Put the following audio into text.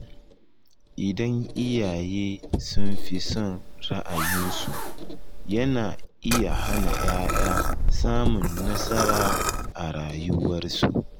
Idan iyaye sun fi son ra’ayinsu, yana iya hana ‘ya’ya samun nasara a rayuwarsu.